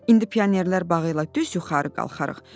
İndi pionerlər bağı ilə düz yuxarı qalxarıq.